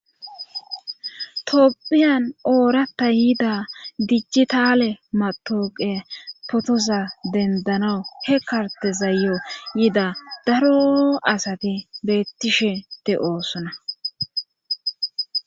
toopphiyan ooratta yida dijjitale matoqe potoza dendana he kartezayyo yida daroo asati beettishe de7oosona